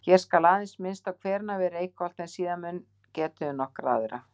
Hér skal aðeins minnst á hverina við Reykholt en síðar mun getið um nokkra aðra.